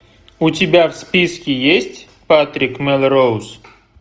у тебя в списке есть патрик мелроуз